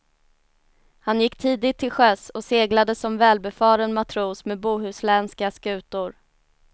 Han gick tidigt till sjöss och seglade som välbefaren matros med bohuslänska skutor.